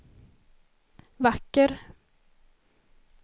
vacker